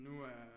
Nu er